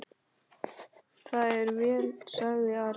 Það er vel, sagði Ari.